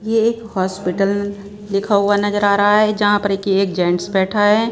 ये एक हॉस्पिटल लिखा हुआ नजर आ रहा है जहां पर एक ये जेंट्स बैठा है।